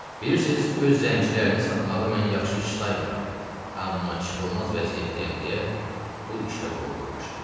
Bilirsiniz, öz zəncilərini satmağı mən yaxşı iş saymıram, amma çıxılmaz vəziyyətdəyəm deyə bu işə qol qoymuşam.